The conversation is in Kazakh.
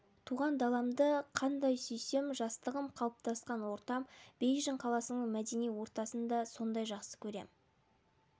туған даламды қандай сүйсем жастығым қалыптасқан ортам бейжің қаласының мәдени ортасын да сондай жақсы көрем